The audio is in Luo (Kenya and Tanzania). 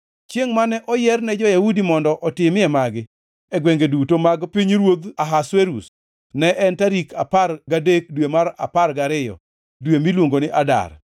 Chiengʼ mane oyier ne jo-Yahudi mondo otimie magi e gwenge duto mag pinyruodh Ahasuerus ne en tarik apar gadek dwe mar apar gariyo dwe miluongo ni Adar.